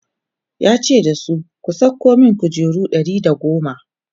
ya ce da su 'ku kwaso min kujeru Ɗari da goma!"